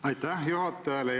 Aitäh juhatajale!